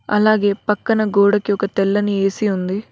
అలాగే పక్కన గోడకు ఒక తెల్లని ఏ_సీ ఉంది.